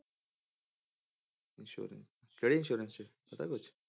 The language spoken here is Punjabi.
Insurance ਕਿਹੜੀ insurance ਪਤਾ ਕੁਛ?